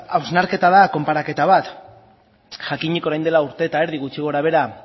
hausnarketa da konparaketa bat jakinik orain dela urte eta erdi gutxi gorabehera